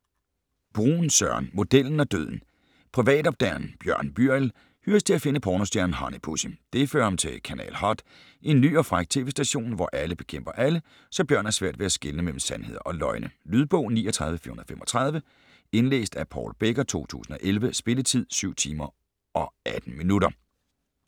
Bruun, Søren: Modellen og døden Privatopdageren Bjørn Byriel hyres til at finde pornostjernen Honey Pussy. Det fører ham til Kanal Hot - en ny og fræk tv-station, hvor alle bekæmper alle, så Bjørn har svært ved at skelne mellem sandheder og løgne. Lydbog 39435 Indlæst af Paul Becker, 2011. Spilletid: 7 timer, 18 minutter.